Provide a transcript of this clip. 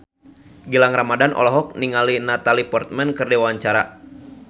Gilang Ramadan olohok ningali Natalie Portman keur diwawancara